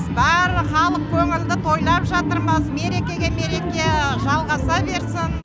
барлық халық көңілді тойлап жатырмыз мереке мерекеге жалғаса берсін